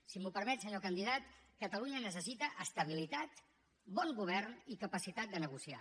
si m’ho permet senyor candidat catalunya necessita estabilitat bon govern i capacitat de negociar